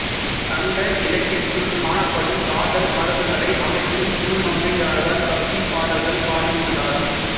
சங்க இலக்கியத்துள் காணப்படும் காதல் மரபுகளை அமைத்தும் திருமங்கையாழ்வார் பக்திப் பாடல்கள் பாடியுள்ளார்